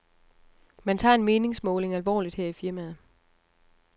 Man tager en meningsmåling alvorligt her i firmaet.